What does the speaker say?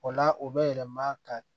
O la o bɛ yɛlɛma ka